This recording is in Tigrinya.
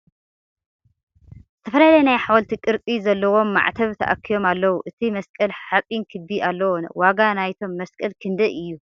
ዝተፈላለየ ናይ ሓወልቲ ቅርፂ ዘለዎም ማዕተብ ተኣኪቦም ኣለዉ ። እቲ መስቀል ሓፂን ክቢ ኣለዎ ። ዋጋ ናይቶም መስቀል ክንደይ እዩ ?